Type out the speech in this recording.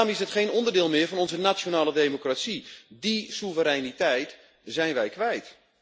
Daarom is het geen onderdeel meer van onze nationale democratie, die soevereiniteit zijn wij kwijt.